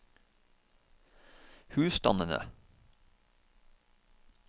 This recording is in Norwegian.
husstandene